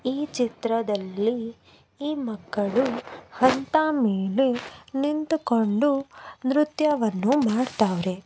ಈ ಚಿತ್ರದಲ್ಲಿ ಈ ಮಕ್ಕಳು ಅಂತ ಮೇಲೆ ನಿಂತುಕೊಂಡು ನೃತ್ಯವನ್ನು ಮಾಡತ್ತಾರೆ.